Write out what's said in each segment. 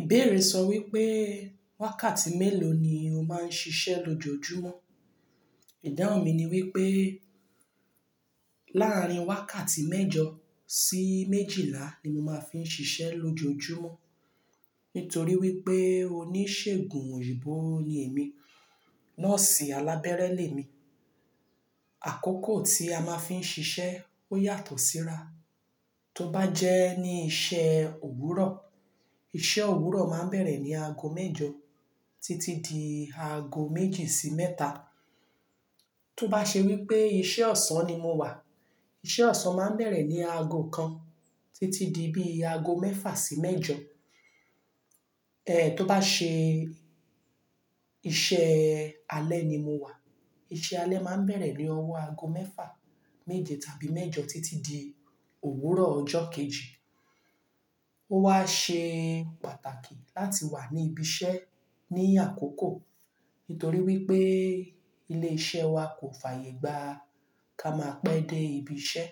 Ìbéèrè sọ wípé wákàtí mélòó ni o máa ń ṣiṣẹ́ lójoojúmọ́. Ìdáhùn mi ni wípé láàrín wákàtí mẹ́jọ sí méjìlá ni mo máa fi n ṣiṣẹ́ lójoojúmọ́. Nítorí wípé oníṣègùn òyìnbó ni èmi, nurse alábẹ́rẹ́ lè mi. Àkókò tí a máa ń fi ń ṣiṣẹ́ ó yàtọ̀ síra. Tó bá jẹ́ ní iṣẹ́ òwúrọ̀, iṣẹ́ òwúrọ̀ máa ń bẹ̀rẹ̀ ní aago mẹ́jọ títí di aago méjì sí mẹ́ta. Tó bá ṣe wípé iṣẹ́ ọ̀sán ni mo wà, iṣẹ́ ọ̀sán máa ń bẹ̀rẹ̀ ní aago kan títí di bí i aago mẹ́fà sí mẹ́jọ. Eh, tó bá ṣe iṣẹ́ alẹ́ ni mo wà, iṣẹ́ alẹ́ máa ń bẹ̀rẹ̀ ní ọwọ́ aago mẹ́fà, méje tàbí mẹ́jọ títí di òwúrọ̀ ọjọ́ kejì. Ó wá ṣe pàtàkì láti wà ní ibi iṣẹ́ ní àkókò. Nítorí wípé ilé iṣẹ́ wa kò fàyègba ká máa pé dé ibi iṣẹ́.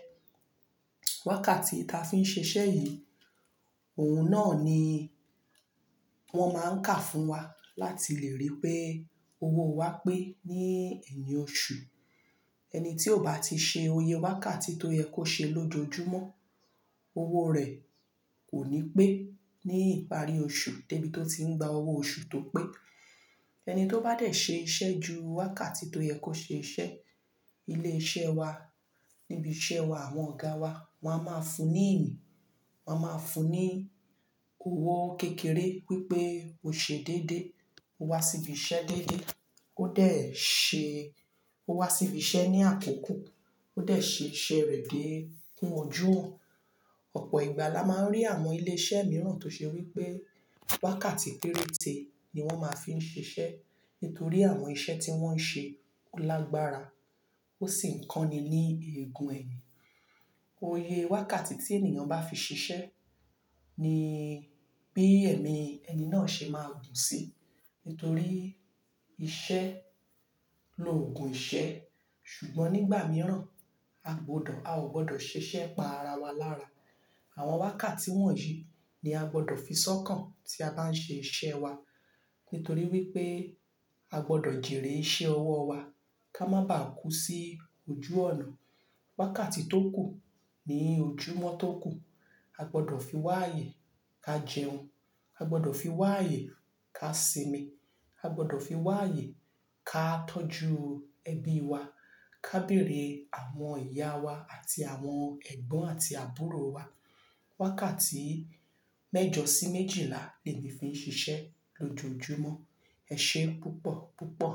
Wákàtí tí a fi ń ṣe iṣẹ́ yìí, òun náà ni wọ́n máa ń kà fún wa láti lè rí pé owó wa pé ní eyin oṣù. Ẹni tí ò bá ti ṣe oyè wákàtí tó yẹ kó ṣe lójoojúmọ́, owó rẹ̀ kò ní pé ní ìparí oṣù, débi tó ti ń gba owó oṣù tó pé. Ẹni tó bá dẹ̀ ṣe iṣẹ́ ju wákàtí tó yẹ kó ṣe iṣẹ́, ilé iṣẹ́ wa, níbi iṣẹ́ wa, àwọn ọ̀gá wa, wọ́n á máa fún ní eni. Wọ́n á máa fún ní owó kékeré wípé o ṣe déédé, o wá síbi iṣẹ́ déédé, ó dẹ̀ ṣe-- ó wá síbi iṣẹ́ ní àkókò, ó dẹ̀ ṣe iṣẹ́ rẹ̀ dé kún ojú ọ̀. Ọ̀pọ̀ ìgbà la máa ń rí àwọn ilé iṣẹ́ mìíràn tó ṣe wípé wákàtí péréte ni wọ́n máa ń fi ń ṣiṣẹ́. Nítorí àwọn iṣẹ́ tí wọ́n ń ṣe lágbára. Ó sì ń kán ni ní ègùn eyin. Oyè wákàtí tí ènìyàn bá fi ṣiṣẹ́ ni bí ẹ̀mí ẹni náà ṣe máa gùn sí. Nítorí iṣẹ́ lo ògùn iṣẹ́. Ṣùgbọ́n nígbà mìíràn a gbọdọ̀, a ò gbọdọ̀ ṣeṣẹ́ pa ara wa lára. Àwọn wákàtí wọ̀nyí ni a gbọdọ̀ fi sọ́kàn tí a bá ń ṣe iṣẹ́ wa. Nítorí wípé a gbọdọ̀ jerèé iṣe ọwọ́ wa ká má bàá kú sí ojú ọnà. Wákàtí tó kù ni ojúmọ́ tó kù. A gbọdọ̀ fi wá ayè ká jẹun, a gbọdọ̀ fi wá ayè ká sinmi, a gbọdọ̀ fi wá ayè ká tọ́jú ẹbí wa, ká bèrè àwọn ìyá wa àti àwọn ẹ̀gbọ́n àti àbúrò wa. Wákàtí mẹ́jọ sí méjìlá ni mo fi ń ṣiṣẹ́ lójoojúmọ́. Ẹ ṣé púpọ̀ púpọ̀.